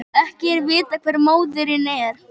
Ekki er vitað hver móðirin er